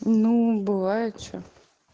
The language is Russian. ну бывает что